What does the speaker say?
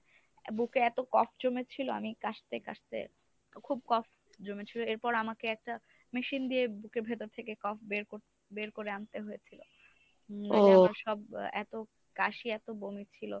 বুকে এত জমে ছিল আমি কাশতে কাশতে খুব জমেছিল এরপর আমাকে একটা machine দিয়ে বুকের ভেতর থেকে বের কর~ বের করে আনতে হয়েছিল। সব এত কাশি এত বমি ছিল।